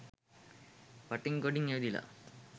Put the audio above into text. වටින් ගොඩින් ඇවිදලා